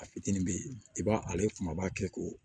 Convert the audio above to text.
A fitinin be yen i b'a ale kumaba kɛ ko